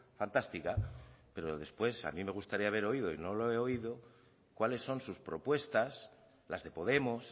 fantástica pero después a mí me gustaría haber oído y no lo he oído cuáles son sus propuestas las de podemos